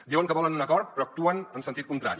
diuen que volen un acord però actuen en sentit contrari